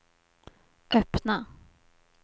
öppna